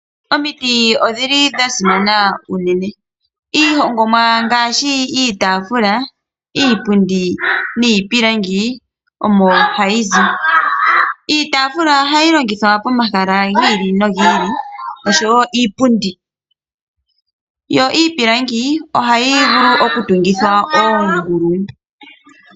Omiiti odhili dhasimana unene. Iihongomwa ngaashi iitafula, iipundi niipilangi omo hayi zi. Iitafula oha yi longithwa pomahala giili nogiili oshowo iipundi yo iipilangi ohayi vulu oku tungithwa oongulu.